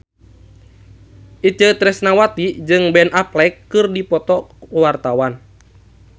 Itje Tresnawati jeung Ben Affleck keur dipoto ku wartawan